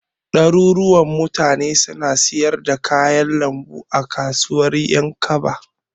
Ɗaruruwan mutane suna siyar da kayan lambu a kasuwar Ƴankaba.